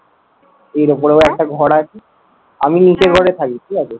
এর ওপরে আবার ঘর আছে। আমি নিচের ঘরে ঠিক আছে? কারণ এর ওপরেও একটা ঘর আছে।